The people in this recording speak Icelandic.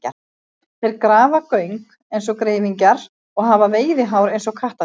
Þeir grafa göng eins og greifingjar og hafa veiðihár eins og kattardýr.